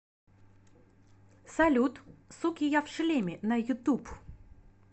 салют суки я в шлеме на ютуб